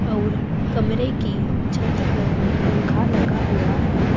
और कमरे की छत पर पंखा लगा हुआ है।